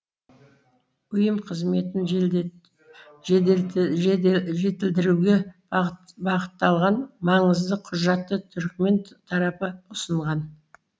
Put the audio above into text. ұйым қызметін жетілдіруге бағытталған маңызды құжатты түрікмен тарапы ұсынған